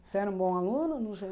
Você era um bom aluno, no